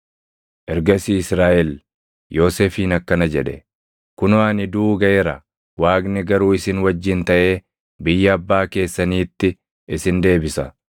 Ergasii Israaʼel Yoosefiin akkana jedhe; “Kunoo ani duʼuu gaʼeera; Waaqni garuu isin wajjin taʼee biyya abbaa keessaniitti isin deebisa.